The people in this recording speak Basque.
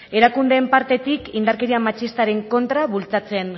erakundeen partetik indarkeria matxistaren kontra bultzatzen